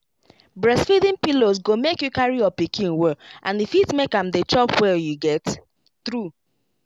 breastfeeding pillows go make you carry your pikin well and e fit make am dey chop well you get true